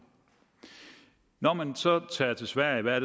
når man så tager til sverige hvad